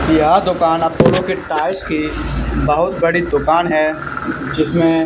यह दुकान आप बोलोगे टाइल्स की बहुत बड़ी दुकान है जिसमें--